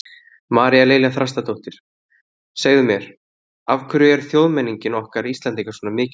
María Lilja Þrastardóttir: Segðu mér, af hverju er þjóðmenningin okkar Íslendinga svona mikilvæg?